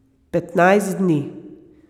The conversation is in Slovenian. Petnajst dni.